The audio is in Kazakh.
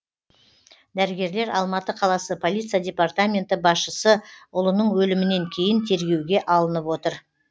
дәрігерлер алматы қаласы полиция департаменті басшысы ұлының өлімінен кейін тергеуге алынып отыр